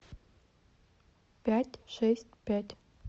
пять шесть пять